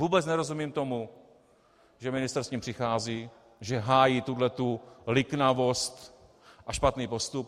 Vůbec nerozumím tomu, že ministr s tím přichází, že hájí tuhle liknavost a špatný postup.